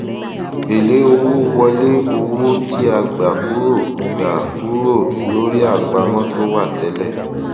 èlé owó wọlé owó tí a gba kúrò gba kúrò lórí àpamọ tó wà tẹlẹ